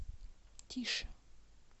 тише